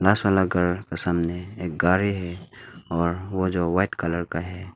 पास वाला घर के सामने एक गाड़ी है और वह जो वाइट कलर का है।